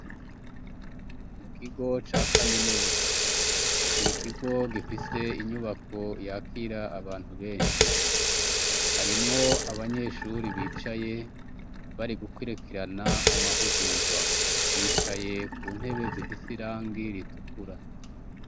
Mu kigo ca kaminuza, n'ikigo gifise inyubako yakira abantu benshi. Harimwo abanyeshure bicaye bari gukurikirana amahugurwa, bicaye ku ntebe zifise irangi ritukura.